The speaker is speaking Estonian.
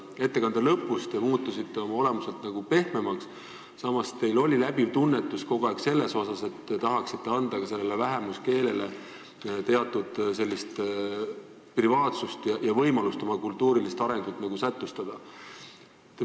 Ettekande lõpus te muutusite nagu pehmemaks, samas teil oli läbiv tunnetus kogu aeg selles mõttes, et te tahaksite anda ka sellele vähemuskeelele teatud privaatsust ja võimalust oma kultuurilist arengut nagu sätestada.